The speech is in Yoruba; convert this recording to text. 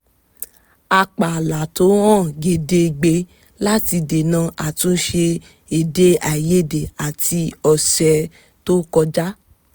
a pààlà tó hàn gedegbe láti dènà àtúnṣe èdèàìyedè àti ọ̀sẹ̀ tó kọjá